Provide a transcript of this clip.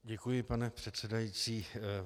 Děkuji, pane předsedající.